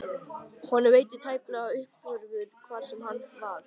Honum veitti tæplega af uppörvun, hvar svo sem hann var.